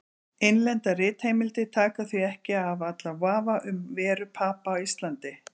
Innlendar ritheimildir taka því ekki af allan vafa um veru Papa á Íslandi.